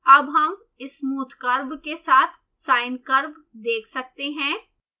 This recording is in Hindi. अब हम smooth curve के साथ sine curve देख सकते हैं